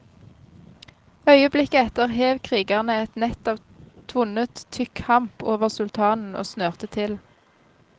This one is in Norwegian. Øyeblikket etter hev krigerne et nett av tvunnet, tykk hamp over sultanen og snørte til.